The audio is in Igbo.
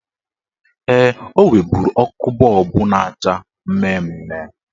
Ee, o nweburu ọkụ bọọbụ na-acha mmemme.